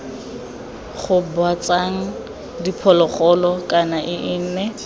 gobatsang diphologolo kana ii nne